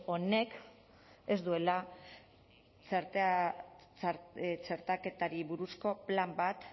honek ez duela txertaketari buruzko plan bat